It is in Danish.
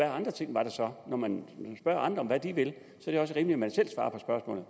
andre ting der så var når man spørger andre om hvad de vil er det også rimeligt at man selv svarer